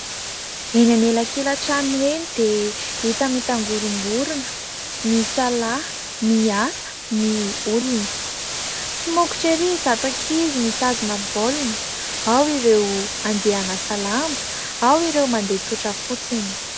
Eny anelakelan-trano eny dia hita mitangorongorona. Misalahy, miasa ny olona ,somokotra ery izato ankizy mitazona baolina, ao ireo andeha hanasa lamba, ao ireo mandeha tsotra fotsiny.